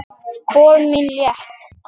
Spor mín létt.